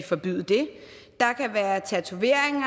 forbyde det der kan være tatoveringer